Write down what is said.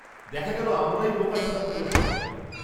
-দেখা গেল আমরাই বোকা ছিলাম পুরো সময়টা।